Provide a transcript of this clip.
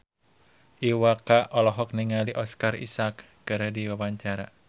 Iwa K olohok ningali Oscar Isaac keur diwawancara